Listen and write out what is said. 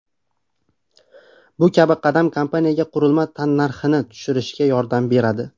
Bu kabi qadam kompaniyaga qurilma tannarxini tushirishga yordam beradi.